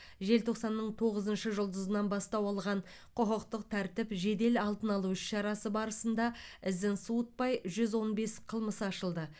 желтоқсанның тоғызыншы жұлдызынан бастау алған құқықтық тәртіп жедел алдын алу іс шарасы барысында ізін суытпай жүз он бес қылмыс ашылды